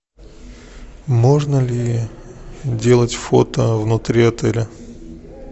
можно ли делать фото внутри отеля